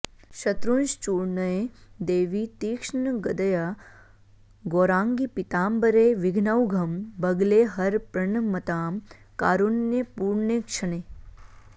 शत्रूंश्चूर्णय देवि तीक्ष्णगदया गौराङ्गि पीताम्बरे विघ्नौघं बगले हर प्रणमतां कारुण्यपूर्णेक्षणे